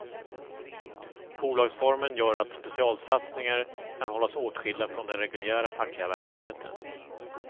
Bolagsformen gör att specialsatsningar kan hållas åtskilda från den reguljära fackliga verksamheten.